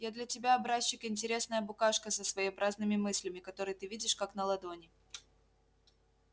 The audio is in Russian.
я для тебя образчик интересная букашка со своеобразными мыслями которые ты видишь как на ладони